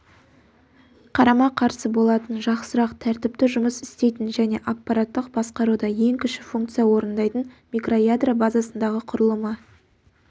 қарама-қарсы болатын жақсырақ тәртіпті жұмыс істейтін және аппараттық басқаруда ең кіші функция орындайтын микроядро базасындағы құрылымы